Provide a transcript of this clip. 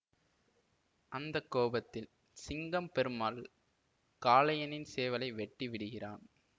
அந்த கோபத்தில் சிங்கம் பெருமாள் காளையனின் சேவலை வெட்டி விடுகிறான்